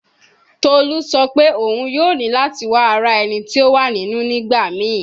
Tolu sọ pe oun yoo ni lati wa ara ẹni ti o wa ninu nigbamii